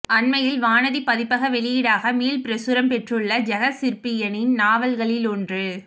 அண்மையில் வானதி பதிப்பக வெளியீடாக மீள்பிரசுரம் பெற்றுள்ள ஜெகசிற்பியனின் நாவல்களிலொன்று